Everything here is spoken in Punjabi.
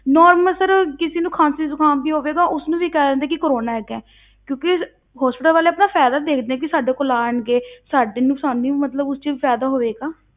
Normal sir ਕਿਸੇ ਨੂੰ ਖ਼ਾਂਸੀ ਜੁਕਾਮ ਵੀ ਹੋਵੇਗਾ, ਉਸਨੂੰ ਵੀ ਕਹਿ ਦਿੰਦੇ ਆ ਕਿ ਕੋਰੋਨਾ ਹੈਗਾ ਹੈ ਕਿਉਂਕਿ hospital ਵਾਲੇ ਆਪਣਾ ਫ਼ਾਇਦਾ ਦੇਖਦੇ ਆ ਕਿ ਸਾਡੇ ਕੋਲ ਆਉਣਗੇ, ਸਾਡੇ ਨੂੰ ਆਸਾਨੀ ਹੋਊ ਮਤਲਬ ਉਸ ਵਿੱਚ ਵੀ ਫ਼ਾਇਦਾ ਹੋਵੇਗਾ